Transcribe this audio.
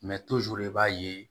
Mɛ i b'a ye